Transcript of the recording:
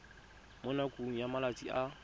mo nakong ya malatsi a